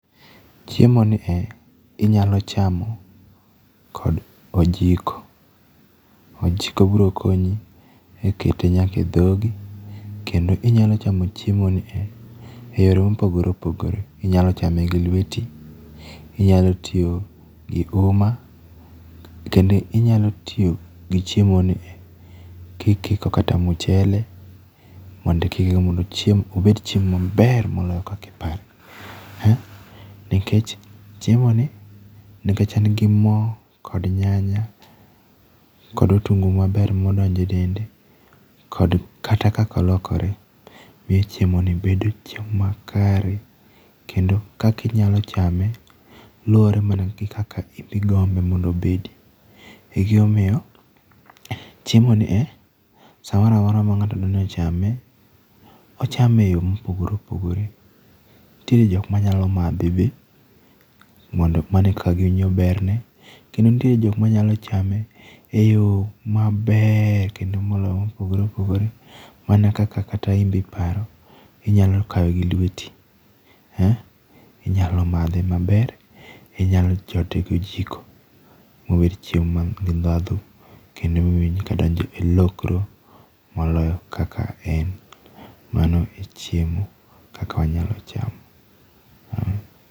Chiemo nie inyalo chamo kod ojiko. Ojiko biro konyi e kete nyaka e dhogi. Kendo inyalo chamo chiemo nie e yore mopogore opogore. Inyalo chame gi lweti. Inyalo tiyo gi uma. Kendo inyalo tiyo gi chiemo nie kikiko kata mchele mondo ikikgo mondo chiemo, obed chiemo maber moloyo kaka ipare. Nikech chiemo ni, nikech en gi mo kod nyanya, kod otungu maber modonjo e dende, kod kata kaka olokore, be chiemo ni bedo chiemo makare. Kendo kaka inyalo chame luwore mana gi kaka inbe igombe mondo obedi. E gima omiyo, chiemo nie, samoramora ma ng'ato dwaro ni ochame, ochame eyo mopogore opogore. Nitiere jok ma nyalo madhe be mondo mano e kaka giwinjo ber ne. Kendo nitiere jok manyalo chame e yo maber kendo molony, mopogore opogore mana kaka kata inbe iparo. Inyalo kawe gi lweti. Inyalo madhe maber. Inyalo chote gi ojiko mobed chiemo man gi ndhadhu kendo miwinj ka donjo e lokro moloyo kaka en. Mano e chiemo kaka wanyalo chamo.